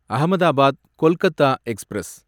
Ahmedabad Kolkata express